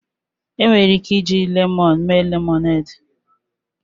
Enwere ike iji lemoonu mee lemọned.